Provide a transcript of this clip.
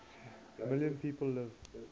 million people live